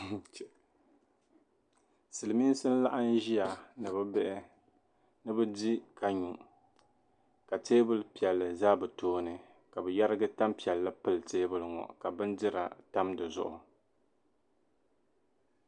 Silimiinsi n-laɣim ʒia ni bɛ bihi ni bɛ di ka nyu ka teebuli piɛlli za bɛ tooni ka bɛ yarigi tampiɛlli pili teebuli ŋɔ ka bindira tam di zuɣu.